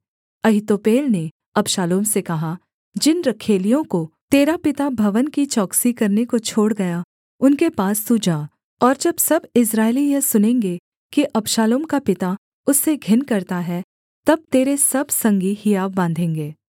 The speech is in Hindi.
अहीतोपेल ने अबशालोम से कहा जिन रखैलियों को तेरा पिता भवन की चौकसी करने को छोड़ गया उनके पास तू जा और जब सब इस्राएली यह सुनेंगे कि अबशालोम का पिता उससे घिन करता है तब तेरे सब संगी हियाव बाँधेंगे